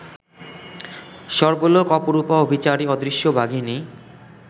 সর্বলোক অপরূপা অভিচারী অদৃশ্য বাঘিনী